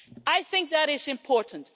I think that is important.